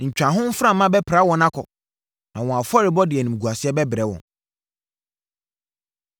Ntwaho mframa bɛpra wɔn akɔ, na wɔn afɔrebɔ de animguaseɛ bɛbrɛ wɔn.